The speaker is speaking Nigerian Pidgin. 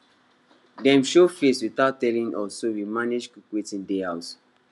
dem show face without telling us so we manage cook wetin dey house